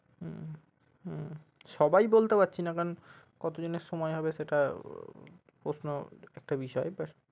হম সবাই বলতে পারছি না কারন কতজনের সময় হবে সেটা প্রশ্ন একটা বিষয়।